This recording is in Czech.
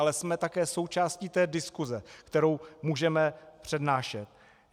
Ale jsme také součástí té diskuse, kterou můžeme přednášet.